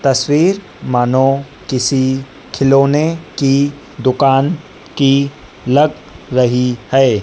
तस्वीर मानो किसी खिलौने की दुकान की लग रही है।